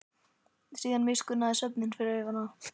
Síðan miskunnaði svefninn sig yfir hana.